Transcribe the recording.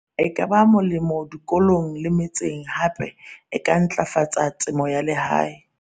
e ka ba molemo dikolong le metseng hape e ka ntlafatsa temo ya lehae.